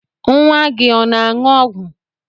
Nwa gị ọ na-aṅụ ọgwụ?